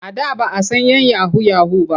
A da ba a san 'yan yahu-yahu ba.